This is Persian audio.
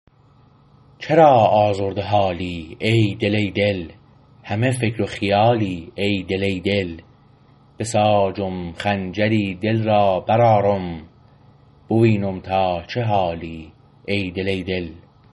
چرا آزرده حالی ای دل ای دل همه فکر و خیالی ای دل ای دل بساجم خنجری دل را برآرم بوینم تا چه حالی ای دل ای دل